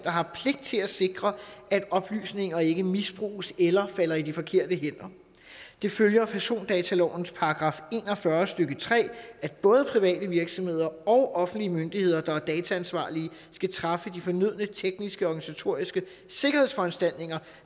har pligt til at sikre at oplysninger ikke misbruges eller falder i de forkerte hænder det følger af persondatalovens § en og fyrre stykke tre at både private virksomheder og offentlige myndigheder der er dataansvarlige skal træffe de fornødne tekniske og organisatoriske sikkerhedsforanstaltninger